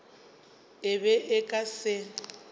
e be e ka se